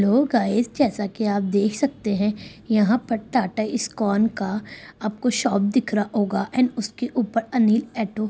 hello guys जैसा की आप देख सकते हैं यहाँ पर टाटा इस्कॉन का आपको शॉप दिख रहा होगा एंड उसके ऊपर अनिल एटो--